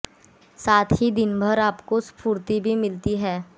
साथ ही दिन भर आप स्फूर्ति भी मिलती है